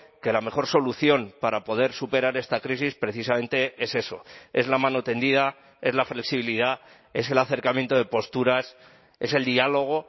que la mejor solución para poder superar esta crisis precisamente es eso es la mano tendida es la flexibilidad es el acercamiento de posturas es el diálogo